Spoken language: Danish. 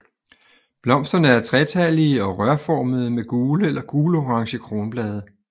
Blomsterne er tretallige og rørformede med gule eller gulorange kronblade